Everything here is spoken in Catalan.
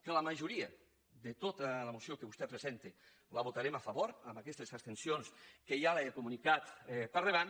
que la majoria de tota la moció que vostè presen·ta la votarem a favor amb aquestes abstencions que ja li he comunicat per endavant